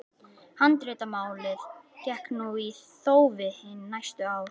Handritamálið gekk nú í þófi hin næstu ár.